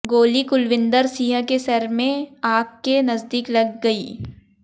गोली कुलविंदर सिंह के सिर में आंख के नजदीक लग गई